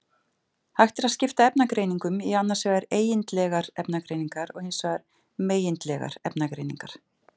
Hægt er að skipta efnagreiningum í annars vegar eigindlegar efnagreiningar og hins vegar megindlegar efnagreiningar.